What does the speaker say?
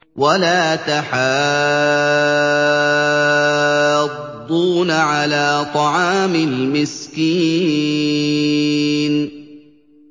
وَلَا تَحَاضُّونَ عَلَىٰ طَعَامِ الْمِسْكِينِ